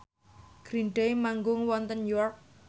Green Day manggung wonten York